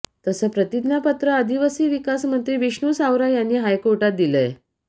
तसं प्रतिज्ञापत्र आदिवासी विकास मंत्री विष्णू सावरा यांनी हायकोर्टात दिलंय